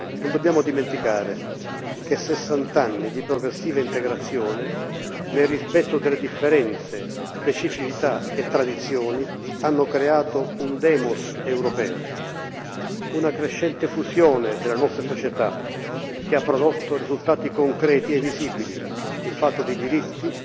Non dobbiamo dimenticare che sessant'anni di progressiva integrazione, nel rispetto delle differenze, specificità e tradizioni, hanno creato un demos europeo una crescente fusione della nostra società che ha prodotto risultati concreti e visibili in fatto di diritti,